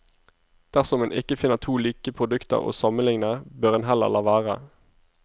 Dersom en ikke finner to like produkter å sammenligne, bør en heller la være.